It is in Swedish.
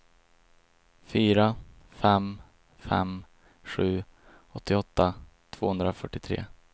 fyra fem fem sju åttioåtta tvåhundrafyrtiotre